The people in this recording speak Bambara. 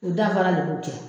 O danfara de b'u cɛ.